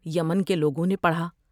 یمن کے لوگوں نے پڑھا ۔